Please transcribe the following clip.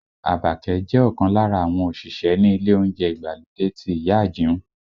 Àbàkẹ́ jẹ́ ọ̀kan lára àwọn òṣìṣẹ́ ní ilé oúnjẹ ìgbàlódé ti ìyá Àjìún